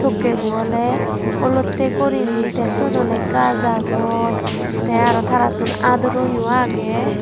tokke bo awle olotte gurinei te sot awle gaj agon te araw tarattun aduro yo agey.